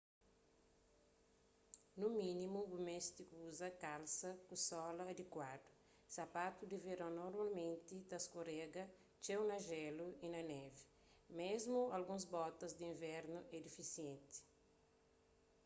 nu mínimu bu meste kuza kalsa ku sola adikuadu sapatu di veron normalmenti ta skorega txeu na jélu y na névi mésmu alguns botas di invernu é difisienti